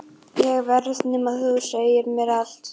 Ég verð- nema þú segir mér allt.